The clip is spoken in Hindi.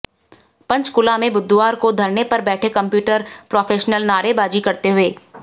पंचकूला में बुधवार को धरने पर बैठे कंप्यूटर प्रोफेशनल नारेबाजी करते हुये